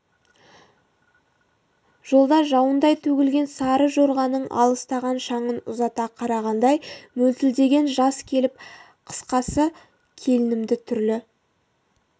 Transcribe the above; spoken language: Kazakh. жолда жауындай төгілген сары жорғаның алыстаған шаңын ұзата қарағандай мөлтілдеген жас келіп қысқасы келінімді түрлі